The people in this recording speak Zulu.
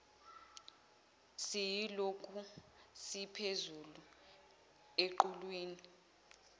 siyilokhu siphezulu eqhulwini